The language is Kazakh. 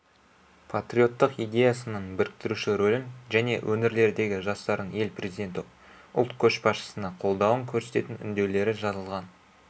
патриоттық идеясының біріктіруші рөлін және өңірлердегі жастардың ел президенті ұлт көшбасшысына қолдауын көрсететін үндеулері жазылған